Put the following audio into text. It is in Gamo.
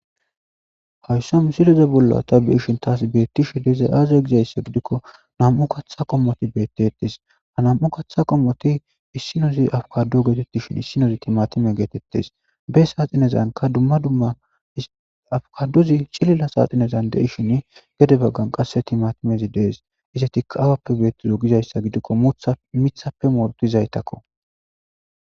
Haysso misileze bolla ta beeshin taas beettishi deza aaze gizayssa gidikko nam'u katha qommoti beettettes ha nam'u katha qommoti issinozi afkadu geetettishin issinozi timatime geetettes be saa xinezanka dumma dumma afkaduzi cilila saaxinezan dei shin gede baggan qasse timatimezi dees ise tika awappe beettizo gizayssa gidikko mutha mithappe mortizaytakko.